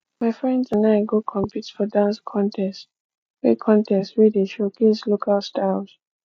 my friends and i go compete for dance contest wey contest wey dey showcase local styles